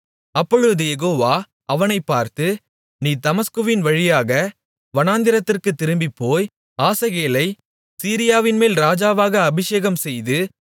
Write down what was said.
அப்பொழுது யெகோவா அவனைப் பார்த்து நீ தமஸ்குவின் வழியாக வனாந்திரத்திற்குத் திரும்பிப்போய் ஆசகேலைச் சீரியாவின்மேல் ராஜாவாக அபிஷேகம்செய்து